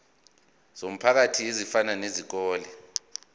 zomphakathi ezifana nezikole